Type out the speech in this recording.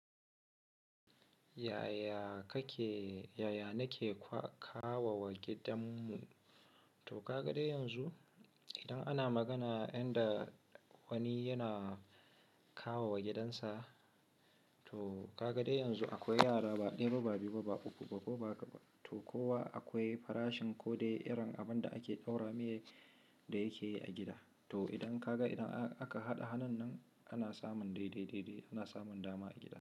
Yaya kake, yaya nake kawowa gidanmu? To ka ga dai yanzu, idan ana magana yanda wani yana kawowa gidansa, to ka ga dai yanzu akwai yara, ba ɗaya ba, ba biyu ba, ba uku ba, ko ba haka ba. To kowa akwai farashin ko dai irin abin da ake ɗaura mai da yake a gida. To idan ka ga idan aka haɗa hannun nan ana samun dai, dai, dai, dai, ana samun dama a gida.